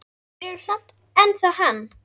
Þeir eru samt ennþá hann.